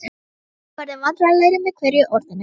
og- hérna- verður vandræðalegri með hverju orðinu.